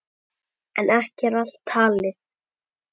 En ekki er allt talið.